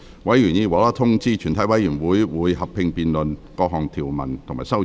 委員已獲通知，全體委員會會合併辯論各項條文及修正案。